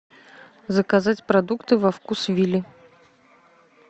заказать продукты во вкусвилле